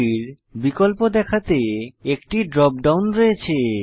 প্রতিটির বিকল্প দেখাতে একটি ড্রপ ডাউন রয়েছে